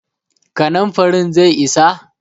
kanin farin zai isa?